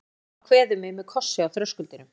Mamma kveður mig með kossi á þröskuldinum.